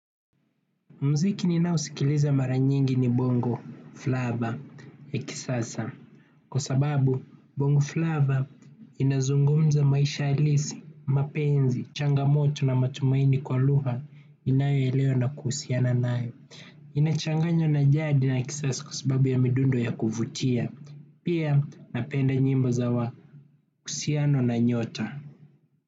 Mziki ninao sikiliza mara nyingi ni bongo Flava ya kisasa. Kwa sababu bongo Flava inazungumza maisha halisi, mapenzi, changamoto na matumaini kwa lugha inayo elewa na kuhusiana nayo. Inachanganywa na jadi la kisasa kwa sababu ya midundo ya kuvutia. Pia napenda nyimbo za wa husiano na nyota.